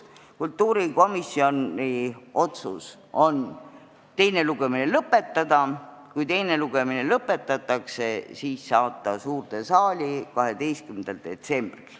Kultuurikomisjoni otsus on teine lugemine lõpetada ja kui teine lugemine lõpetatakse, siis saata eelnõu suurde saali 12. detsembriks.